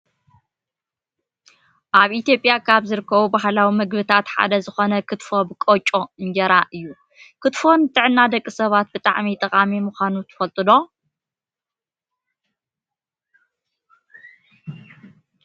ኣብ ኢትዮጵያ ካብ ዝርከቡ ባህላዊ ምግብባት ሓደ ዝኮነ ክትፎ ብቆጮ እንጀራን እዩ። ክትፎ ንጥዕና ደቂ ሰባት ብጣዕሚ ጠቃሚ ምኳኑ ትፈልጡ ዶ?